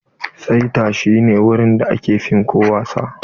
Saita shi ne wurin da aka fim ko wasa.